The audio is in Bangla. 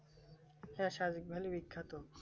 হ্যাঁ সাদেক ভ্যালি বিখ্যাত